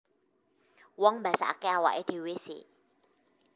Wong mbasakake awake dhewe c